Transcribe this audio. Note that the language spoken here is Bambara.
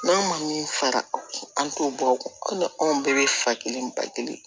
N'an ma min fara an t'o bɔ o kun ko ni anw bɛɛ bɛ fa kelen ba kelen